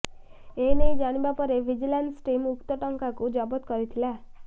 ଏନେଇ ଜାଣିବା ପରେ ଭିଜିଲାନ୍ସ ଟିମ୍ ଉକ୍ତ ଟଙ୍କାକୁ ଜବତ କରିଥିଲା